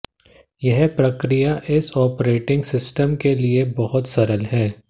यह प्रक्रिया इस ऑपरेटिंग सिस्टम के लिए बहुत सरल है